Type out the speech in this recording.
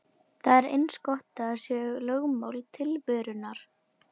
Það er eins og það sé lögmál tilverunnar.